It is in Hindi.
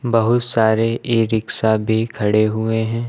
बहुत सारे ई रिक्शा भी खड़े हुए हैं।